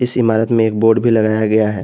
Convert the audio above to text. इमारत में एक बोर्ड भी लगाया गया है।